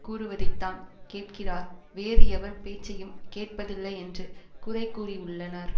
கூறுவதைத்தான் கேட்கிறார் வேறு எவர் பேச்சையும் கேட்பதில்லை என்று குறைகூறியுள்ளனர்